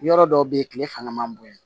Yɔrɔ dɔw bɛ yen tile fanga man bon yan